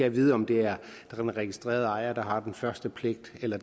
at vide om det er den registrerede ejer der har den første pligt eller